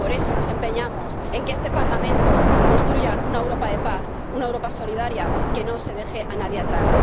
por eso nos empeñamos en que este Parlamento construya una Europa de paz, una Europa solidaria, que no se deje a nadie atrás.